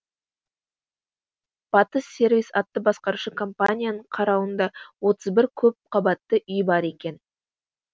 батыс сервис атты басқарушы компанияның қарауында отыз бір көпқабатты үй бар екен